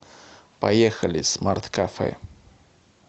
поехали смарт кафе